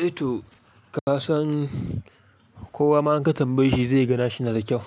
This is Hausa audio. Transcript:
Eh to ka san kowa ma in ka tambaye shi zai ga nashi na da kyau.